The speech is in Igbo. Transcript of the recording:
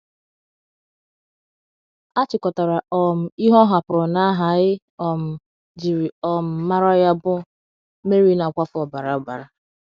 A chịkọtara um ihe ọ hapụrụ n’aha e um jiri um mara ya bụ — Mary Na - akwafu Ọbara Ọbara.